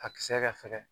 A kisɛ ka fɛgɛn